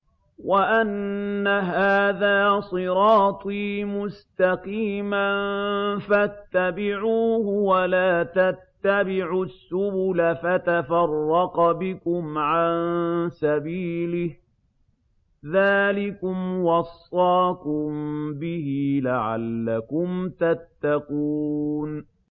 وَأَنَّ هَٰذَا صِرَاطِي مُسْتَقِيمًا فَاتَّبِعُوهُ ۖ وَلَا تَتَّبِعُوا السُّبُلَ فَتَفَرَّقَ بِكُمْ عَن سَبِيلِهِ ۚ ذَٰلِكُمْ وَصَّاكُم بِهِ لَعَلَّكُمْ تَتَّقُونَ